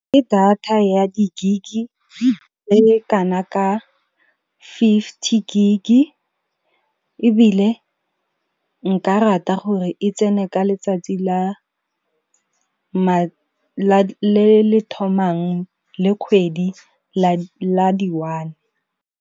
Ke data ya di-gig e kana ka fifty gig, ebile nka rata gore e tsene ka letsatsi le le thomang le kgwedi la di-one.